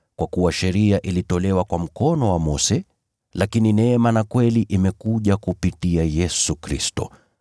Kwa kuwa sheria ilitolewa kwa mkono wa Mose, lakini neema na kweli imekuja kupitia Yesu Kristo.